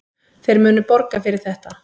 Þeir munu borga fyrir þetta.